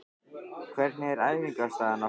Hvernig er æfingaaðstaðan á Höfn?